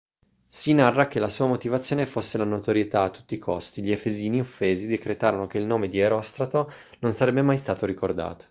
si narra che la sua motivazione fosse la notorietà a tutti i costi gli efesini offesi decretarono che il nome di erostrato non sarebbe mai stato ricordato